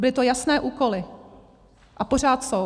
Byly to jasné úkoly a pořád jsou.